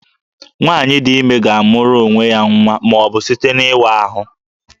Nwaanyị dị ime ga-amụrụ onwe ya nwa ma ọ bụ site n'ịwa ahụ